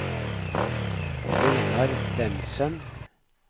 Einar Bentsen